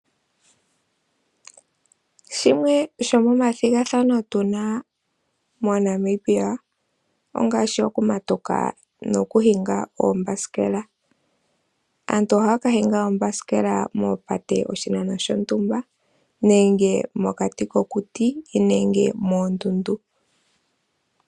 Shimwe sho momathigathano tuna moNamibia ongaashi oku matuka, no kuhinga oombasikela. Aantu ohaya ka hinga oombasikela moopate oshinano shontumba, nenge mokati kokuti, nenge moondundu.